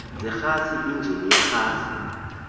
zerhasi injini yerhasi